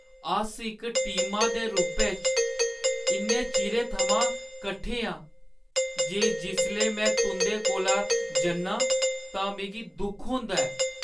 अस इक टीमा दे रूपै च इन्ने चिरै थमां कट्ठे आं जे जिसलै में तुं'दे कोला जन्नां तां मिगी दुख होंदा ऐ।